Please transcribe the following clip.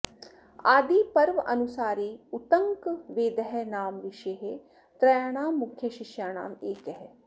आदिपर्वानुसारे उत्तङ्कः वेदः नाम ऋषेः त्रयाणां मुख्यशिष्याणाम् एकः